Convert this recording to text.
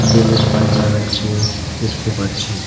Balloon বাইন্ধা রাখসে দেখতে পাচ্ছি।